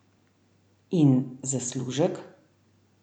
In zaslužek?